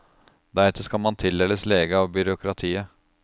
Deretter skal man tildeles lege av byråkratiet.